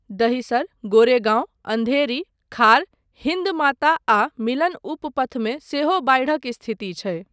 दहिसर, गोरेगाँव, अन्धेरी, खार, हिन्द माता आ मिलन उप पथमे सेहो बाढिक स्थिति छै।